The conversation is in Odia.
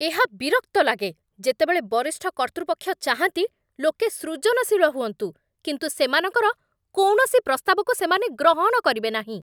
ଏହା ବିରକ୍ତ ଲାଗେ, ଯେତେବେଳେ ବରିଷ୍ଠ କର୍ତ୍ତୃପକ୍ଷ ଚାହାଁନ୍ତି ଲୋକେ ସୃଜନଶୀଳ ହୁଅନ୍ତୁ, କିନ୍ତୁ ସେମାନଙ୍କର କୌଣସି ପ୍ରସ୍ତାବକୁ ସେମାନେ ଗ୍ରହଣ କରିବେ ନାହିଁ।